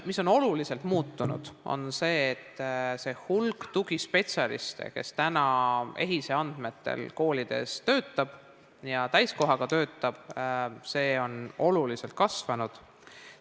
Oluliselt on muutunud see, et nende tugispetsialistide hulk, kes EHIS-e andmetel koolides täiskohaga töötab, on oluliselt kasvanud.